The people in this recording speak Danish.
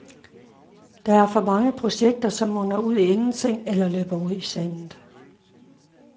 Der er for mange projekter, som munder ud i ingenting eller løber ud i sandet.